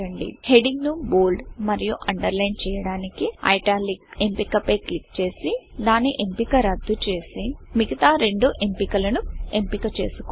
heading ను bold మరియు underline చేయడానికి italicఐట్యాలిక్ ఎంపిక పై క్లిక్ చేసి దాని ఎంపిక రద్దు చేసి మిగతా రెండు ఎంపికలను ఎంపిక చేసుకోండి